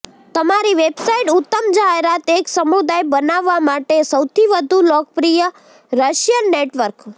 તમારી વેબસાઇટ ઉત્તમ જાહેરાત એક સમુદાય બનાવવા માટે સૌથી વધુ લોકપ્રિય રશિયન નેટવર્ક